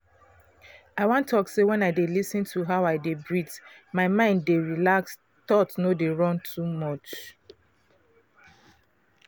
i wan talk say wen i dey lis ten to how i de breath my mind dey relax thoughts no dey run too much.